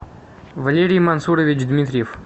валерий мансурович дмитриев